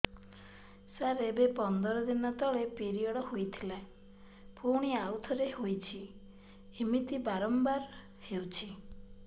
ସାର ଏବେ ପନ୍ଦର ଦିନ ତଳେ ପିରିଅଡ଼ ହୋଇଥିଲା ପୁଣି ଆଉଥରେ ହୋଇଛି ଏମିତି ବାରମ୍ବାର ହଉଛି